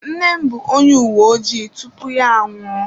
Nne m bụ onye uwe ojii tupu ya anwụọ.